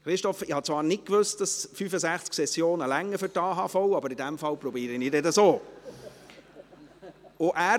Christoph Grimm, ich habe zwar nicht gewusst, dass 65 Sessionen für den Erhalt der AHV genügen, aber in diesem Fall werde ich das dann auch versuchen.